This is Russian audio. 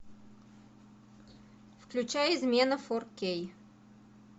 включай измена фор кей